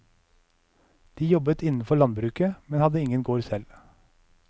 De jobbet innenfor landbruket, men hadde ingen gård selv.